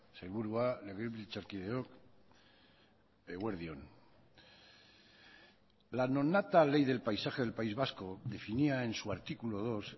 sailburua legebiltzarkideok eguerdi on la nonata ley del paisaje del país vasco definía en su artículo dos